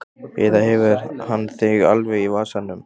Eða hefur hann þig alveg í vasanum?